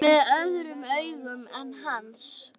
Með öðrum augum en hans.